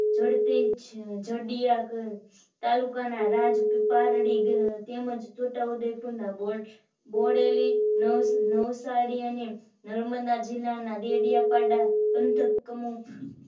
જડતી જડિયાક તાલુકાના રાજપારડી તેમજ છોટાઉદેપુર ના બોડેલી નૌશાદઅને નર્મદા જિલ્લાના ડેડીયાપાડા પંથક કોમો